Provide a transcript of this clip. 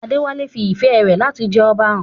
Adewale fi ìfẹ́ rẹ̀ láti jẹ Ọba hàn.